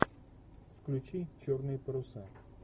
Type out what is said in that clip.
включи черные паруса